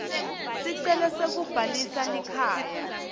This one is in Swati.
sicelo sekubhalisa likhaya